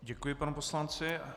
Děkuji panu poslanci.